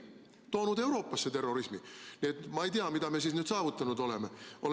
Nad on toonud Euroopasse terrorismi, nii et ma ei tea, mida me siin nüüd saavutanud oleme.